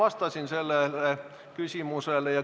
Ma vastasin sellele küsimusele.